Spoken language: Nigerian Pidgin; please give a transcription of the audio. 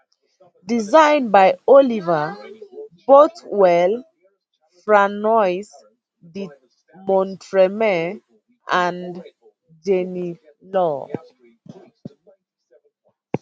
design by oliver bothwell franois de montremy and jenny law